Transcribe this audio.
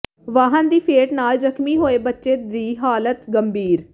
ਵਾਹਨ ਦੀ ਫੇਟ ਨਾਲ ਜ਼ਖ਼ਮੀ ਹੋਏ ਬੱਚੇ ਦੀ ਹਾਲਤ ਗੰਭੀਰ